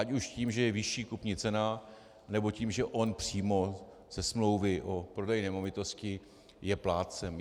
Ať už tím, že je vyšší kupní cena, nebo tím, že on přímo ze smlouvy o prodeji nemovitosti je plátcem.